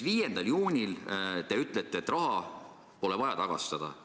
5. juunil te ütlete, et raha pole vaja tagastada.